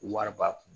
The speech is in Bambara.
Wari b'a kun